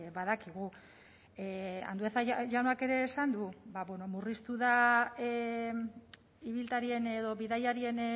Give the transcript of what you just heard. badakigu andueza jaunak ere esan du murriztu da ibiltarien edo bidaiarien